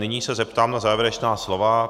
Nyní se zeptám na závěrečná slova.